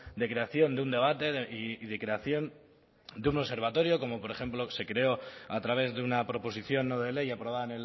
de creación de un debate y de creación de un observatorio como por ejemplo se creó a través de una proposición no de ley aprobada